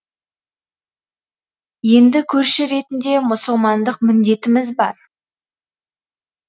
енді көрші ретінде мұсылмандық міндетіміз бар